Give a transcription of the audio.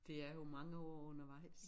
De er jo mnage år undervejs